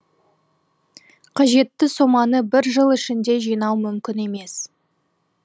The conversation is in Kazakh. қажетті соманы бір жыл ішінде жинау мүмкін емес